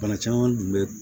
Bana caman tun bɛ